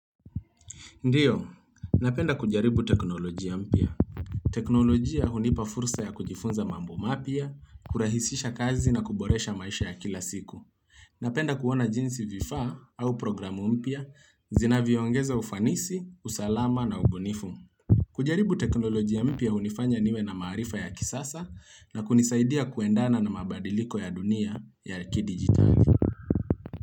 Ndio, napenda kujaribu teknolojia mpya. Teknolojia hunipa fursa ya kujifunza mambo mapya, kurahisisha kazi na kuboresha maisha ya kila siku. Napenda kuona jinsi vifaa au programu mpya, zinavyo ongeza ufanisi, usalama na ubunifu. Kujaribu teknolojia mpya hunifanya niwe na maarifa ya kisasa na kunisaidia kuendana na mabadiliko ya dunia ya kidigitali.